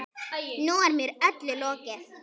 Nú er mér öllum lokið.